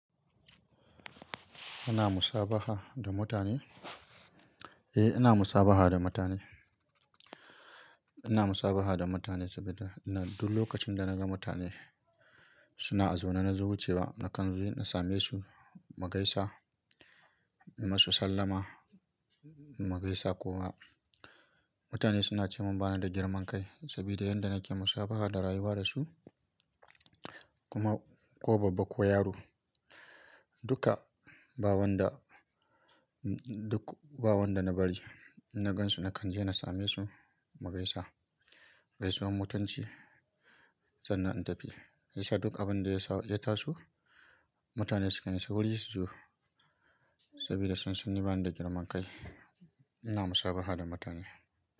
Ana musabaha da mutane? Eh, ina musabaha da mutane. Ina musabaha da mutane saboda duk lokacin da na ga mutane suna a zaune na zo, wucewa na kan je na same su magaisa, na masu sallama magaisa ko ma mutane suna ce mun bana da girman kai saboda yanda nake musabaha da rayuwa da su. Kuma ko babba ko yaro, duka bawon da, duk bawon da na bari na gansu na kan je na same su magaisa, gai su wan mutunci sannan in tafi. Yasa duk abin da ya taso mutane sukan yi sauri su zo saboda sun san ni bani da girman kai. Ina musabaha da mutane.